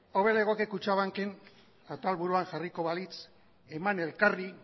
hobe legoke kutxabank en atalburuan jarriko balitz eman elkarri